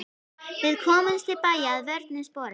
Við komumst til bæja að vörmu spori.